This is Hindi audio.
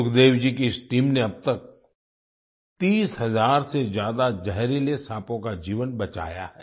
सुखदेव जी की इस टीम ने अब तक 30 हजार से ज्यादा जहरीले साँपों का जीवन बचाया है